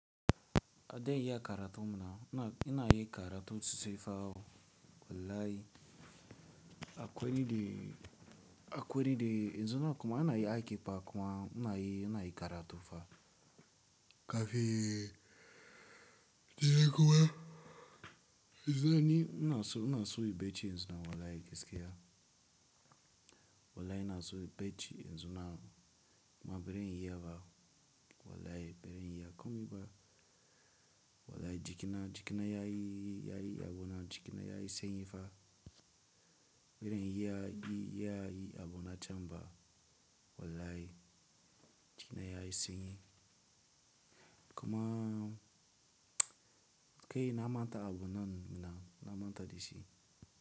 Adayi yakaratu muna. Inayi karatu sosaifa o wallahi. Akwali de, akwali de. Yanzu na kuma inayi aike par kuma inayi, inayi karatufa. Kafin dare kuma. Yanzu na ni, ina so, ina so yi bacci yanzu na wallahi gaski ya. Wallahi ina so yi bacci yanzu na. Ma beren iya ba wallahi beren iya. Komiba wallahi jikina, jikina yayi, yayi abunan. Jikina yayi sanyi fa. Beren iya yi, yayi abuna chamba wallahi jikina yayi sanyi. Kuma kai na manta abunan muna. Na manta dashi.